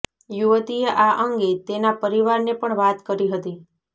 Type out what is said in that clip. યુવતીએ આ અંગે તેના પરિવારને પણ વાત કરી હતી